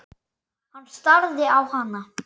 Hann starði á hana.